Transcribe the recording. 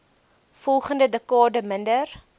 volgende dekade minder